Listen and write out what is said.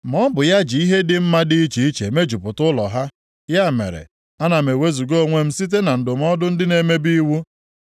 Ma ọ bụ ya ji ihe dị mma dị iche iche mejupụta ụlọ ha, ya mere ana m ewezuga onwe m site na ndụmọdụ ndị na-emebi iwu.